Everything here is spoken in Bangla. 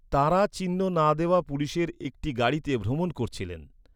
তাঁরা চিহ্ন না দেওয়া পুলিশের একটি গাড়িতে ভ্রমণ করছিলেন।